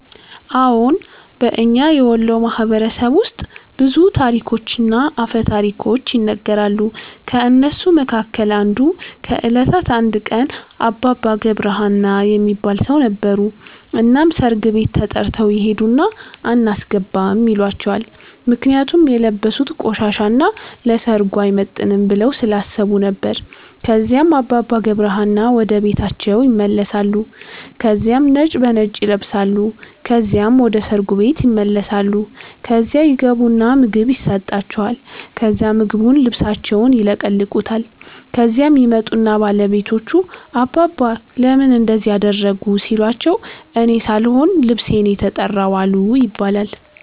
አዎን። በእኛ የወሎ ማህበረሰብ ውስጥ ብዙ ታሪኮችና አፈ ታሪኮች ይነገራሉ። ከእነሱ መካከል አንዱ ከእለታት አንድ ቀን አባባ ገብረ ሀና የሚባል ሠው ነበሩ። እናም ሠርግ ቤት ተተርተው ይሄድና አናስገባም ይሏቸዋል ምክንያቱም የለበሡት ቆሻሻ እና ለሠርጉ አይመጥንም ብለው ስላሠቡ ነበር። ከዚያም አባባ ገብረ ሀና ወደ ቤታቸው ይመለሳሉ ከዚያም ነጭ በነጭ ይለብሳሉ ከዚያም ወደ ሠርጉ ቤት ይመለሳሉ። ከዚያ ይገቡና ምግብ የሠጣቸዋል ከዛ ምግቡን ልብሣቸውን ይለቀልቁታል። ከዚያም ይመጡና ባለቤቶቹ አባባ ለምን እንደዚህ አደረጉ ሲሏቸው እኔ ሣልሆን ልብሤ ነው የተራው አሉ ይባላል።